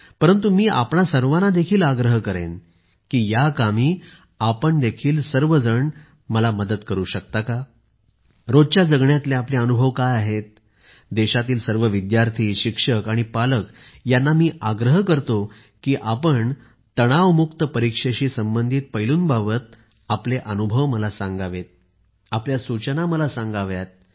परंतु मी आपणा सर्वांना आग्रह करेन की या कामी आपण सर्व मला मदत करू शकता का रोजच्या जगण्यातले आपले अनुभव काय आहेत देशातील सर्व विद्यार्थी शिक्षक आणि पालकांना मी आग्रह करतो की आपण तणावमुक्त परीक्षेशी संबंधित पैलूंबाबत आपले अनुभव मला सांगावे आपल्या सूचना मला सांगाव्यात